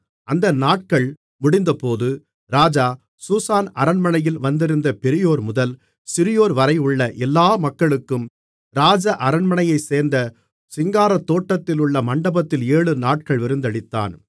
அந்த நாட்கள் முடிந்தபோது ராஜா சூசான் அரண்மனையில் வந்திருந்த பெரியோர்முதல் சிறியோர்வரையுள்ள எல்லா மக்களுக்கும் ராஜ அரண்மனையைச்சேர்ந்த சிங்காரத்தோட்டத்திலுள்ள மண்டபத்தில் ஏழு நாட்கள் விருந்தளித்தான்